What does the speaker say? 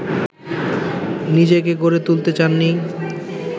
নিজেকে গড়ে তুলতে চাননি